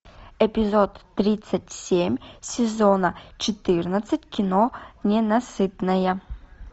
эпизод тридцать семь сезона четырнадцать кино ненасытная